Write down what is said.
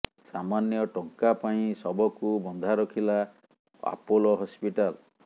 ସାମାନ୍ୟ ଟଙ୍କା ପାଇଁ ଶବକୁ ବନ୍ଧା ରଖିଲା ଆପୋଲୋ ହସ୍ପିଟାଲ